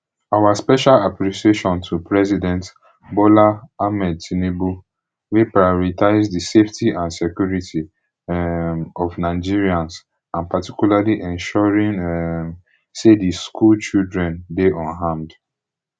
our special appreciation to president bola ahmed tinubu wey pioritise di safety and security um of nigerians and particularly ensuring um say di school children dey unharmed